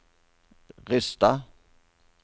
Rysstad